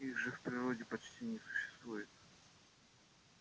их же в природе почти не существует